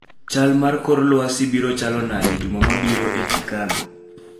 chal mar kor lwasi biro chalo nade juma mabiro e chicago